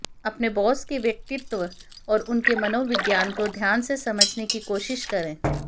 अपने बॉस के व्यक्तित्व और उनके मनोविज्ञान को ध्यान से समझने की कोशिश करें